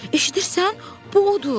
Eşidirsən, bu odur!